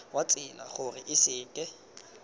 wa tsela gore a seke